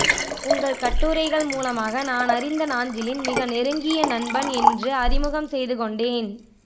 உங்கள் கட்டுரைகள் மூலமாக நானறிந்த நாஞ்சிலின் மிக நெருங்கிய நண்பன் என்று அறிமுகம் செய்துகொண்டேன்